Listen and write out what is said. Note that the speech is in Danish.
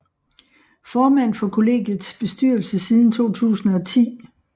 Formand for kollegiets bestyrelse siden 2010